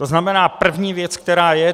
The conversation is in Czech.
To znamená první věc, která je.